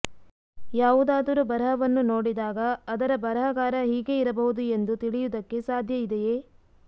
ಯಾವುದಾದರೂ ಬರಹವನ್ನು ನೋಡಿದಾಗ ಅದರ ಬರಹಗಾರ ಹೀಗೆ ಇರಬಹುದು ಎಂದು ತಿಳಿಯುವುದಕ್ಕೆ ಸಾಧ್ಯ ಇದೆಯೇ